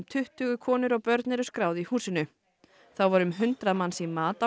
tuttugu konur og börn eru skráð í húsinu þá voru um hundrað manns í mat á